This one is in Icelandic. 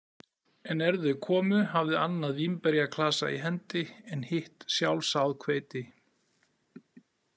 En er þau komu, hafði annað vínberjaklasa í hendi en hitt sjálfsáð hveiti.